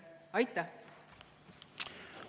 Aitäh!